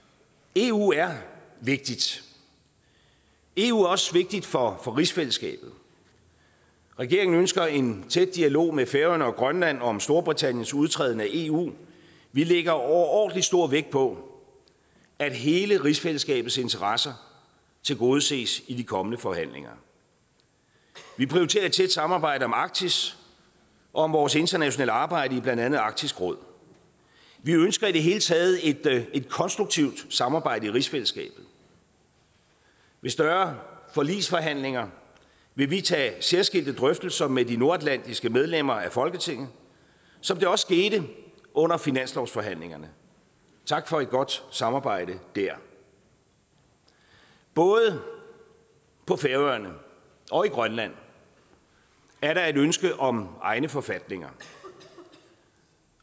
eu er vigtigt eu er også vigtigt for rigsfællesskabet regeringen ønsker en tæt dialog med færøerne og grønland om storbritanniens udtræden af eu vi lægger overordentlig stor vægt på at hele rigsfællesskabets interesser tilgodeses i de kommende forhandlinger vi prioriterer et tæt samarbejde om arktis og om vores internationale arbejde i blandt andet arktisk råd vi ønsker i det hele taget et konstruktivt samarbejde i rigsfællesskabet ved større forligsforhandlinger vil vi tage særskilte drøftelser med de nordatlantiske medlemmer af folketinget som det også skete under finanslovsforhandlingerne tak for et godt samarbejde der både på færøerne og i grønland er der et ønske om egne forfatninger